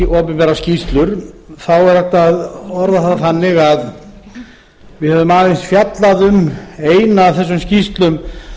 opinberar skýrslur þá er hægt að orða það þannig að við höfum aðeins fjallað um eina af þessum skýrslum